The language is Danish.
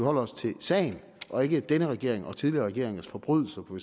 holder os til sagen og ikke denne regerings og tidligere regeringers forbrydelser på